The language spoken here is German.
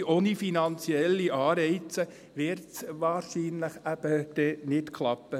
Denn ohne finanzielle Anreize wird es wahrscheinlich dann eben nicht klappen.